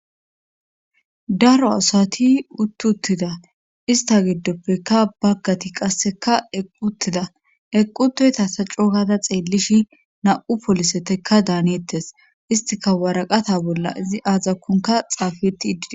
daro asati uttuttida ista giddoppeka baggati qasseka equttida equtoyta sa cogada xeellish na7u polisetekka daaneettes istika waraqata bolla izi aazakkunka xaafetti iddide